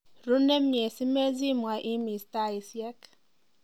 ruu nemie zimezimwa imis taisiek